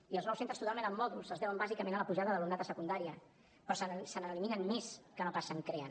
i els nous centres totalment amb mòduls es deuen bàsicament a la pujada d’alumnat a secundària però se n’eliminen més que no pas se’n creen